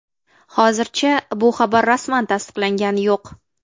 Hozircha bu xabar rasman tasdiqlangani yo‘q.